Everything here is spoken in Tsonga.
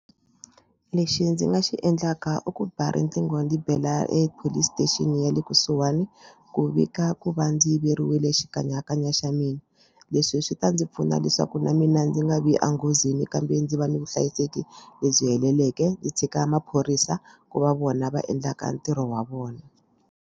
Lexi ndzi nga xi endlaka i ku ba riqingho ni bela epolice station ya le kusuhani ku vika ku va ndzi yiveriwile xikanyakanya xa mina leswi swi ta ndzi pfuna leswaku na mina ndzi nga vi enghozini kambe ndzi va ni vuhlayiseki lebyi heleleke ndzi tshika maphorisa ku va vona va endlaka ntirho wa vona.